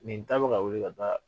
Nin ta ka weeli ka taa